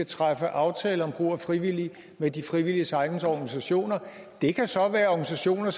træffe aftaler om brug af frivillige med de frivilliges egne organisationer det kan så være organisationer